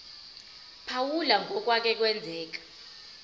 phawula ngokwake kwenzeka